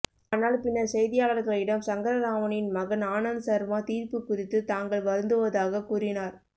ஆனால் பின்னர் செய்தியாளர்களிடம் சங்கரராமனின் மகன் ஆனந்த் சர்மா தீர்ப்பு குறித்து தாங்கள் வருந்துவதாகக் கூறினார்